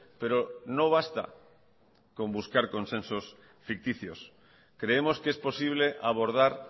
pero no basta con buscar consensos ficticios creemos que es posible abordar